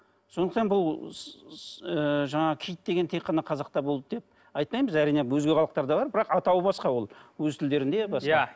сондықтан бұл ы жаңағы киіт деген тек қана қазақта болды деп айтпаймыз әрине өзге халықтарда бар бірақ атауы басқа ол өз тілдерінде